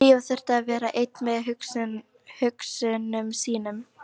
Drífa þurfti að vera ein með hugsunum sínum.